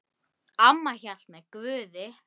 Amma hélt með Guði.